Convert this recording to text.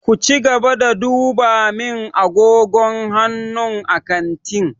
Ku cigaba da duba min agogon hannu a kantin!